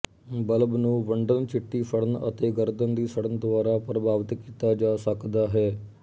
bulb ਨੂੰ ਵੰਡਣ ਚਿੱਟੀ ਸੜਨ ਅਤੇ ਗਰਦਨ ਦੀ ਸੜਨ ਦੁਆਰਾ ਪ੍ਰਭਾਵਿਤ ਕੀਤਾ ਜਾ ਸਕਦਾ ਹੈ